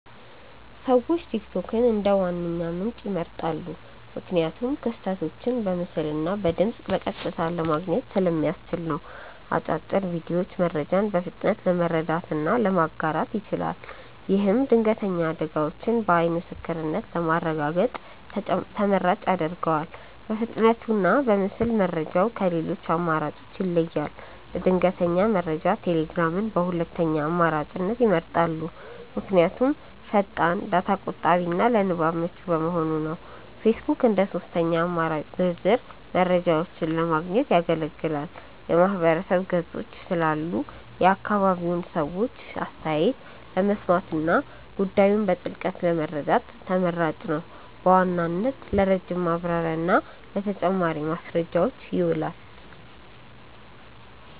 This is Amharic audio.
ሰዎች ቲክቶክን እንደ ዋነኛ ምንጭ ይመርጣሉ። ምክንያቱም ክስተቶችን በምስልና በድምፅ በቀጥታ ለማየት ስለሚያስችል ነው። አጫጭር ቪዲዮዎቹ መረጃን በፍጥነት ለመረዳትና ለማጋራት ይችላል። ይህም ድንገተኛ አደጋዎችን በዓይን ምስክርነት ለማረጋገጥ ተመራጭ ያደርገዋል። በፍጥነቱና በምስል መረጃው ከሌሎች አማራጮች ይለያል። ለድንገተኛ መረጃ ቴሌግራምን በሁለተኛ አማራጭነት ይመርጣሉ። ምክንያቱም ፈጣን፣ ዳታ ቆጣቢና ለንባብ ምቹ በመሆኑ ነው። ፌስቡክ እንደ ሦስተኛ አማራጭ ዝርዝር መረጃዎችን ለማግኘት ያገለግላል። የማህበረሰብ ገጾች ስላሉ የአካባቢውን ሰዎች አስተያየት ለመስማትና ጉዳዩን በጥልቀት ለመረዳት ተመራጭ ነው። በዋናነት ለረጅም ማብራሪያና ለተጨማሪ ማስረጃዎች ይውላል።